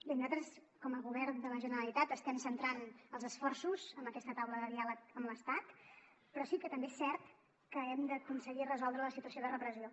bé nosaltres com a govern de la generalitat estem centrant els esforços en aquesta taula de diàleg amb l’estat però sí que també és cert que hem d’aconseguir resoldre la situació de repressió